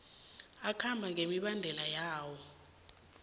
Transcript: akhambe ngemibandela yawo